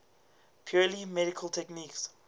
purely mechanical techniques